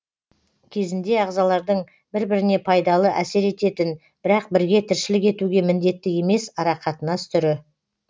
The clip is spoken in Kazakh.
кезінде ағзалардың бір біріне пайдалы әсер ететін бірақ бірге тіршілік етуге міндетті емес арақатынас түрі